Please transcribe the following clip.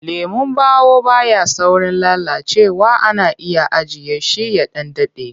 Lemon ɓawo ba ya saurin lalacewa ana iya ajiye shi ya ɗan daɗe.